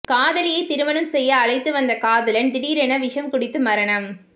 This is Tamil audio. காதலியை திருமணம் செய்ய அழைத்து வந்த காதலன் திடீரென விஷம் குடித்து மரணம்